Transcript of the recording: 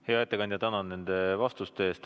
Hea ettekandja, tänan nende vastuste eest!